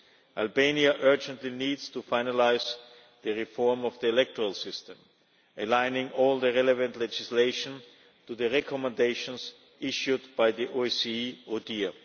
Albania urgently needs to finalise the reform of the electoral system, aligning all the relevant legislation to the recommendations issued by the OSCE ODIHR.